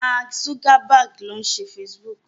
Mark Zuckerberg ló ṣe Facebook.